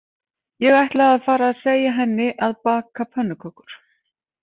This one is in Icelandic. Ég ætla að fara og segja henni að baka pönnukökur